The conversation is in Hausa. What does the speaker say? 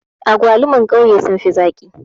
Agwaluman ƙauye sun fi zaƙi